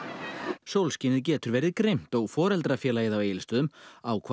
sólskinið getur verið grimmt og foreldrafélagið á Egilsstöðum ákvað